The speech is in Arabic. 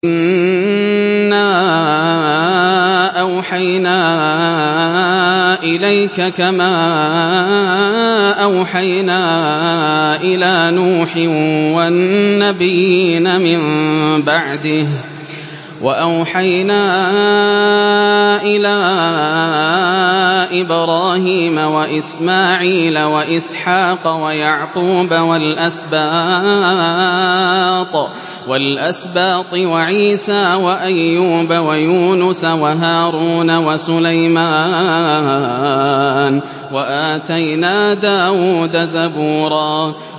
۞ إِنَّا أَوْحَيْنَا إِلَيْكَ كَمَا أَوْحَيْنَا إِلَىٰ نُوحٍ وَالنَّبِيِّينَ مِن بَعْدِهِ ۚ وَأَوْحَيْنَا إِلَىٰ إِبْرَاهِيمَ وَإِسْمَاعِيلَ وَإِسْحَاقَ وَيَعْقُوبَ وَالْأَسْبَاطِ وَعِيسَىٰ وَأَيُّوبَ وَيُونُسَ وَهَارُونَ وَسُلَيْمَانَ ۚ وَآتَيْنَا دَاوُودَ زَبُورًا